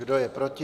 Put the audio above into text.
Kdo je proti?